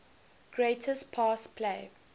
greatest pass play